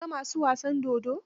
Ka ga ma su wasan dodon?